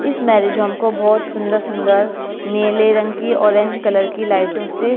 इस marriage home को बहुत सुंदर-सुंदर नीले रंग की ऑरेंज कलर की लाइटों से --